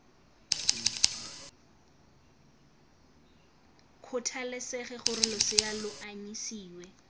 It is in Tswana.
kgathalesege gore losea lo anyisiwa